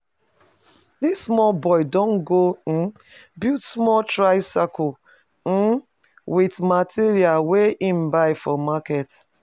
This small boy don go um build small tricycle um with material wey he buy from market